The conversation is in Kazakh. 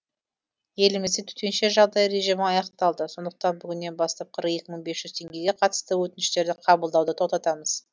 елімізде төтенше жағдай режимі аяқталды сондықтан бүгіннен бастап қырық екі мың бес жүз теңгеге қатысты өтініштерді қабылдауды тоқтатамыз